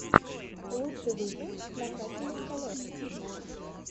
лучший выпуск накачанных колес